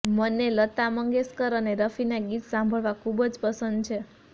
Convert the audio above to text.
મને લતા મંગેશકર અને રફીના ગીત સાંભળવા ખૂબ જ પંસદ છે